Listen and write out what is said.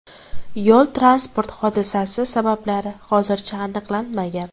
Yo‘l-transport hodisasi sabablari hozircha aniqlanmagan.